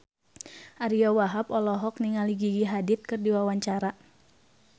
Ariyo Wahab olohok ningali Gigi Hadid keur diwawancara